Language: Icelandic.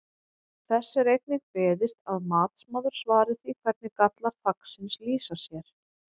Þess er einnig beiðst að matsmaður svari því hvernig gallar þaksins lýsa sér?